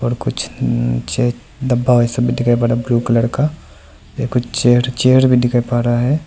कुछ चे नीचे डब्बा वैसा भी दिखाई पड़ रहा ब्लू कलर का एक चेयर चेयर भी दिखाई पड़ रहा है।